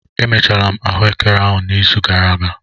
Emechara m ahụekere n'izu gara aga.